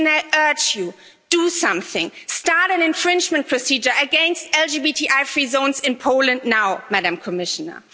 And I urge you do something, start an infringement procedure against LGBTI free zones in Poland now, Madam Commissioner.